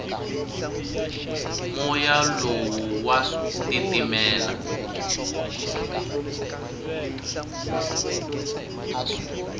moya lowu wa titimela